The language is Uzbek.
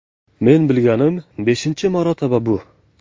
Men bilganim beshinchi marotaba bu.